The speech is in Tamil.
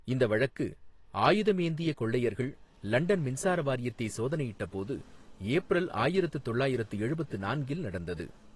இந்த வழக்கு, ஆயுதம் ஏந்திய கொள்ளையர்கள் லண்டன் மின்சார வாரியத்தை சோதனையிட்டபோது, ஏப்ரல் ஆயிரத்து தொள்ளாயிரத்து எழுபத்து நான்கில் நடந்தது.